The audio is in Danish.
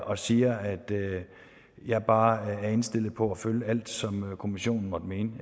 og siger at jeg bare er indstillet på at følge alt som kommissionen måtte mene